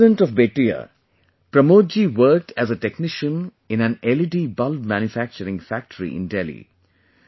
A resident of Bettiah, Pramod ji worked as a technician in an LED bulb manufacturing factory in Delhi